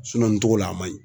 nin togo la a man ɲi.